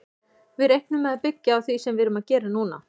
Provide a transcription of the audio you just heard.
Við reiknum með að byggja á því sem við erum að gera núna.